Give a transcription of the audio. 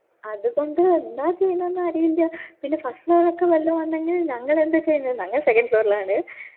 അത് കൊണ്ട് എന്താ ചെയ്യാനെന്ന് അരിയില്ല പിന്നെ first floor ഒക്കെ വെള്ളം വന്നെങ്കിൽ ഞങ്ങൾ എന്താ ചെയ്യാ ഞങ്ങൾ second floor ലാണ്